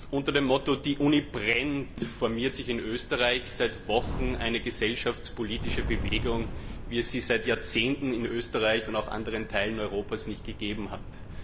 Unter dem Motto Die Uni brennt formiert sich in Österreich seit Wochen eine gesellschaftspolitische Bewegung, wie es sie seit Jahrzehnten in Österreich und anderen Teilen Europas nicht gegeben hat.